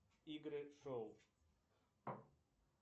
игры шоу